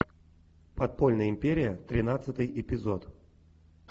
подпольная империя тринадцатый эпизод